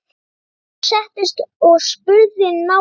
Jón settist og spurði nánar.